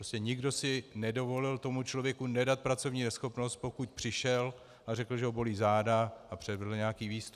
Prostě nikdo si nedovolil tomu člověku nedat pracovní neschopnost, pokud přišel a řekl, že ho bolí záda, a předvedl nějaký výstup.